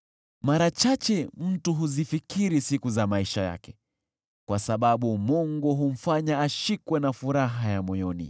Mara chache mtu huzifikiri siku za maisha yake, kwa sababu Mungu humfanya ashikwe na furaha ya moyoni.